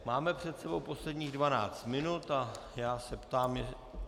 Máme před sebou posledních dvanáct minut a já se ptám...